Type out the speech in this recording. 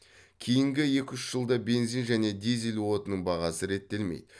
кейінгі екі үш жылда бензин және дизель отынының бағасы реттелмейді